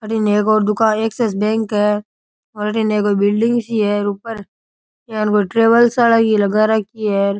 अठीन एक और दुका एक्सिस बैंक है और अठीने कोई बिल्डिंग सी है और ऊपर यान कोई ट्रेवल्स वाला की लगा रखी है।